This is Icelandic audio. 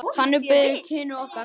Þannig byrjuðu kynni okkar.